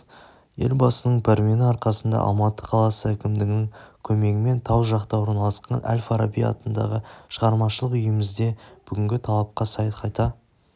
елбасының пәрмені арқасында алматы қаласы әкімдігінің көмегімен тау жақта орналасқан әл-фараби атындағы шығармашылық үйімізде бүгінгі талапқа сай қайта